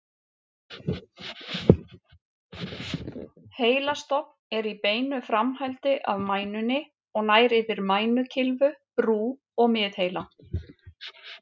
Heilastofn er í beinu framhaldi af mænunni og nær yfir mænukylfu, brú og miðheila.